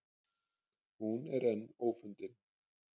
Hún er enn ófundin.